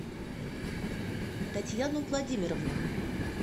татьяну владимировну